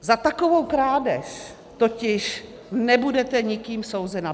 Za takovou krádež totiž nebudete nikým souzena.